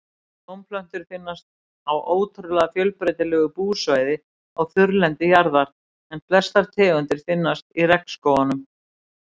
Blómplöntur finnast á ótrúlega fjölbreytilegu búsvæði á þurrlendi jarðar en flestar tegundir finnast í regnskógunum.